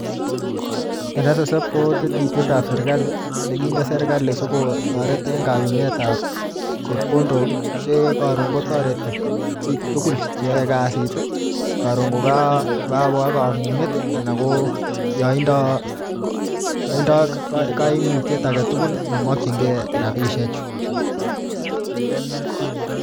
NSSF ko tetutietab serikali nekinde serikali sikotoret eng kayumetab chepkondok ii, che karon kotoreti piik tugul che yoe kasit ii, karon ko kakoba kamunget ii anan ko yoindo kaimutiet ake tugul nemokchinkei rabiisiechu.